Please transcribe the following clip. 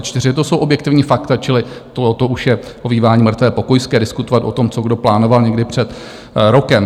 To jsou objektivní fakta, čili to už je ovívání mrtvé pokojské diskutovat o tom, co kdo plánoval někdy před rokem.